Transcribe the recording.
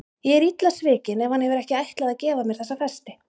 Ég er illa svikin ef hann hefur ekki ætlað að gefa mér þessa festi.